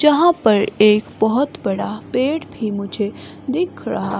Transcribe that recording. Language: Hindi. जहां पर एक बहुत बड़ा पेड़ भी मुझे दिख रहा --